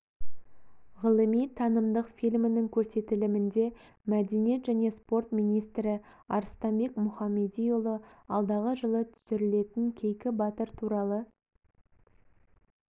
ғылыми-танымдық фильмнің көрсетілімінде мәдениет және спорт министрі арыстанбек мұхамедиұлы алдағы жылы түсірілетін кейкі батыр туралы